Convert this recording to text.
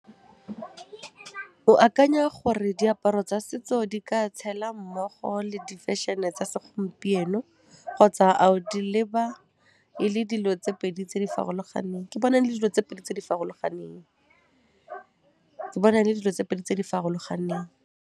O akanya gore diaparo tsa setso di ka tshela mmogo le di fashion-e tsa se gompieno kgotsa a o di leba e le dilo tse pedi tse di farologaneng? Ke bona e le dilo tse pedi tse di farologaneng, ke bona e le dilo tse pedi tse di farologaneng.